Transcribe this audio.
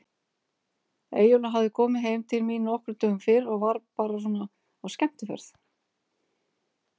Eyjólfur hafði komið heim til mín nokkrum dögum fyrr og var bara svona á skemmtiferð.